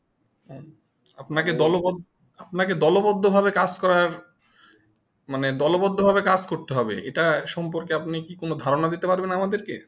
আপনা কে দল বর্ধ দলবদ্ধ ভাবে কাজ করার মানে দলবদ্ধ ভাবে কাজ করতে হবে এটা সম্পর্কে আপনি কি কোনো ধারণা দিতে পারবে আমাদেরকে